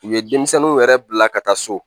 U ye denmisɛnninw yɛrɛ bila ka taa so